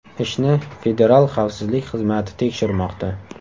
Ishni Federal xavfsizlik xizmati tekshirmoqda.